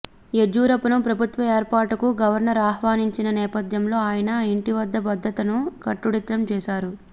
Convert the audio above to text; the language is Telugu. యడ్యూరప్పను ప్రభుత్వ ఏర్పాటుకు గవర్నర్ ఆహ్వానించిన నేపథ్యంలో ఆయన ఇంటిద్ద భద్రతను కట్టుదిట్టం చేశారు